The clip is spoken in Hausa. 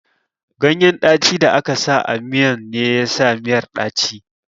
Ganyen ɗacin da aka sa a miyan ne yasa miyar ɗaci